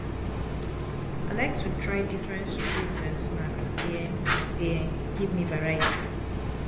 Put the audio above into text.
i like to try different street um snacks; e um dey um give me variety.